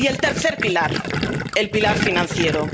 Y el tercer pilar, el pilar financiero.